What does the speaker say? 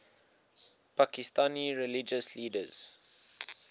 pakistani religious leaders